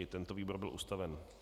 I tento výbor byl ustaven.